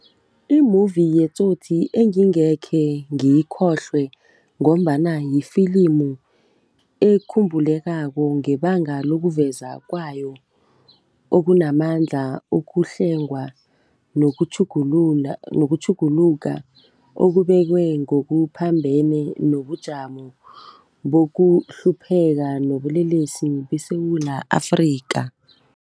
I-movie yeTsotsi engingekhe ngiyikhohlwe ngombana yifilimu ekhumbulekako ngebanga lokuveza kwayo okunamandla, ukuhlengwa nokutjhuguluka okubekwe ngokuphambene nobujamo bokuhlupheka nobulelesi beSewula Afrika.